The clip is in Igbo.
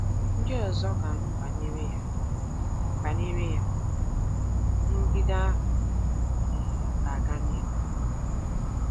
Ndị ọzọ ga-anụ banyere ya, banyere ya, nrụgide ahụ um ga-aga n’ihu.